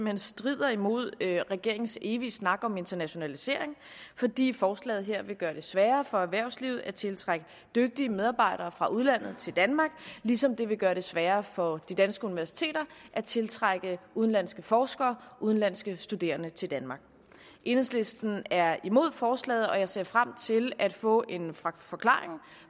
hen strider imod regeringens evige snak om internationalisering fordi forslaget her vil gøre det sværere for erhvervslivet at tiltrække dygtige medarbejdere fra udlandet til danmark ligesom det vil gøre det sværere for de danske universiteter at tiltrække udenlandske forskere og udenlandske studerende til danmark enhedslisten er imod forslaget og jeg ser frem til at få en forklaring